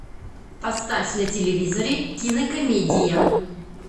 поставь на телевизоре кинокомедия